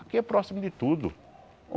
Aqui é próximo de tudo.